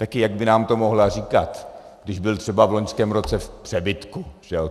Taky jak by nám to mohla říkat, když byl třeba v loňském roce v přebytku?